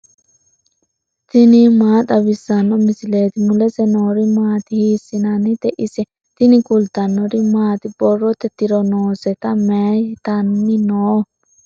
tini maa xawissanno misileeti ? mulese noori maati ? hiissinannite ise ? tini kultannori maati? borrotte tiro noosete? Mayiittanni noo?